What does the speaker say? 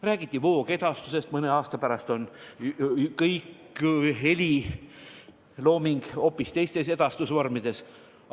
Räägiti voogedastusest, mõne aasta pärast edastatakse kogu heliloomingut hoopis teistes vormides.